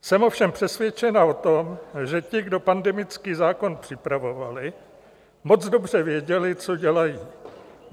Jsem ovšem přesvědčena o tom, že ti, kdo pandemický zákon připravovali, moc dobře věděli, co dělají.